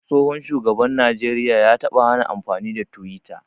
Tsohon shugaban najeriya ya taɓa hana amfani da twitter.